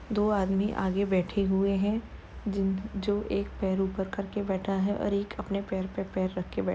दो आदमी आगे बैठे हुए हैं जिन जो एक पैर ऊपर करके बैठा है और एक अपने पैर पे पैर रख के बैठ --